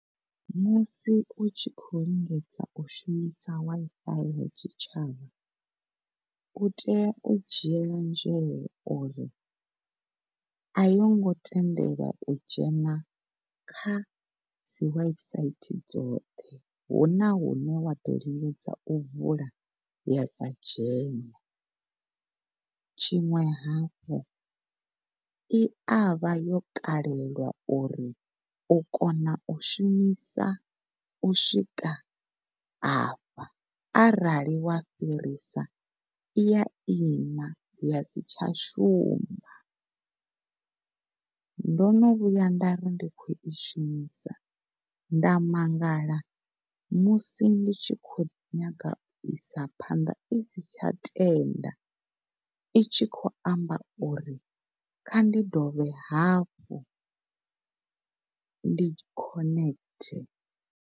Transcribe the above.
Musi u tshi khou lingedza u shumisa Wi-Fi ya tshitshavha u tea u dzhiela nzhele uri a yongo tendelwa u dzhena kha dzi website dzoṱhe huna hune wa ḓo lingedza u vula ya sa dzhene. Tshiṅwe hafhu, i avha yo kalelwa uri kona u shumisa u swika afha arali wa fhirisa i ya ima ya si tsha shuma. Ndo vhuya nda ri ndi khou i shumisa nda mangala musi ndi tshi khou nyanga u isa phanḓa isi tsha tenda, itshi khou amba uri kha ndi dovhe hafhu, ndi khonethe.